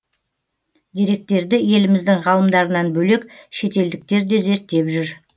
деректерді еліміздің ғалымдарынан бөлек шетелдіктер де зерттеп жүр